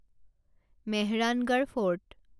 Mehrangarh fort